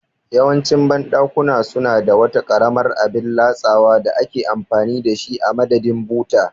Yawancin banɗakuna suna da wata karamar abin latsawa da ake amfani da shi a madadin buta